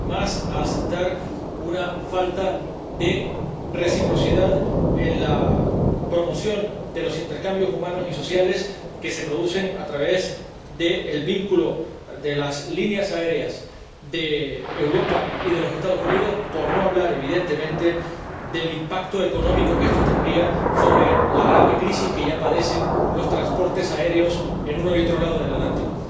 a aceptar, sin más, la falta de reciprocidad en la promoción de los intercambios humanos y sociales que se producen a través del vínculo de las líneas aéreas de Europa y de los Estados Unidos, por no hablar, evidentemente, del impacto económico que esto tendría sobre la grave crisis que ya padecen los transportes aéreos a uno y otro lado del Atlántico.